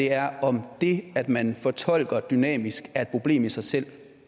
er om det at man fortolker dynamisk er et problem i sig selv